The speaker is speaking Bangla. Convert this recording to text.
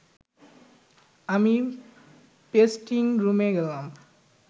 আমি পেস্টিং রুমে গেলাম